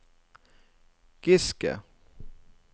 Giske